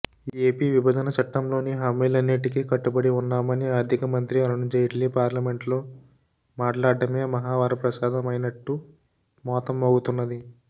AP విభజన చట్టంలోని హామీలన్నిటికీ కట్టుబడి వున్నామని ఆర్థిక మంత్రి అరుణ్జైట్లీ పార్లమెంటులో మాట్లాడ్డమే మహావరప్రసాదమైనట్టు మోత మోగుతున్నది